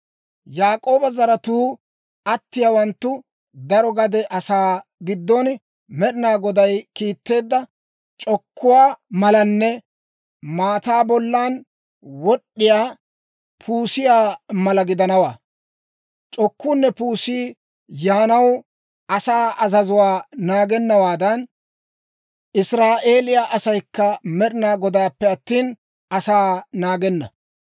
Yaak'ooba zaratuu atiyaawanttu daro gade asaa giddon Med'ina Goday kiitteedda c'okkuwaa malanne maataa bollan wod'd'iyaa puusiyaa mala gidanawaa. C'okkuunne puusi yaanaw asaa azazuwaa naagennawaadan, Israa'eeliyaa asaykka Med'ina Godaappe attina, asaa naagenna.